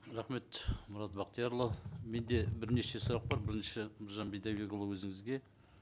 рахмет мұрат бақтиярұлы менде бірнеше сұрақ бар бірінші нұржан бидайбекұлы өзіңізге